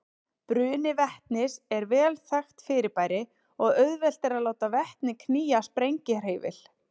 Bruni vetnis er vel þekkt fyrirbæri og auðvelt er að láta vetni knýja sprengihreyfil.